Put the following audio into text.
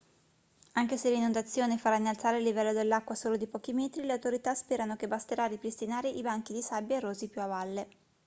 anche se l'inondazione farà innalzare il livello dell'acqua solo di pochi metri le autorità sperano che basterà a ripristinare i banchi di sabbia erosi più a valle